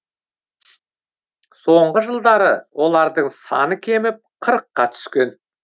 соңғы жылдары олардың саны кеміп қырыққа түскен